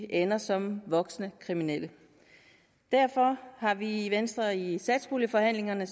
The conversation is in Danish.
ender som voksne kriminelle derfor har vi i venstre i satspuljeforhandlingerne